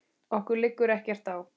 Okkur liggur ekkert á